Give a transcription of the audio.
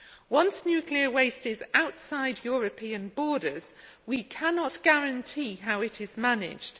Once nuclear waste is outside European borders, we cannot guarantee how it is managed.